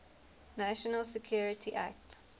national security act